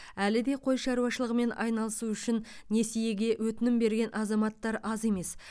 әлі де қой шаруашылығымен айналысу үшін несиеге өтінім берген азаматтар аз емес